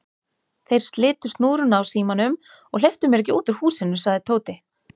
Þeir slitu snúruna á símanum og hleyptu mér ekki út úr húsinu sagði Tóti.